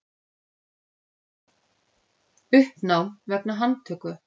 Uppnám vegna handtöku